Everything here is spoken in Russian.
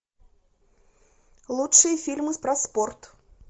лучшие фильмы про спорт